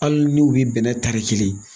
Hali ni u bi bɛnnɛ tari kelen